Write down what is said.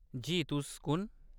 जी। तुस कुन ?